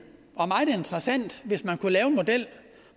og meget interessant hvis man kunne lave en model